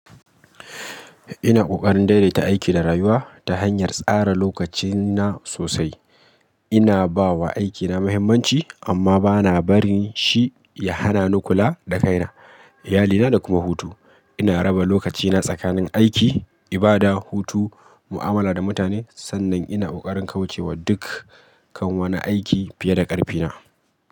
Ina kokarin daidaita aiki da rayuwa ta hanyar tsara lokacina sosai. Ina ba wa aikina muhimmanci amma ba na barin shi ya hana ni kula da kaina, iyalina da kuma hutu. Ina raba lokacina tsakanin aiki, ibada, hutu, mu'amala da mutane. Sannan ina kokarin kauce wa duk kan wani aiki fiye da ƙarfina.